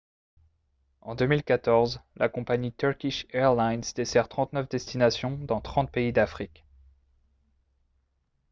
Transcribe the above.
en 2014 la compagnie turkish airlines dessert 39 destinations dans 30 pays d'afrique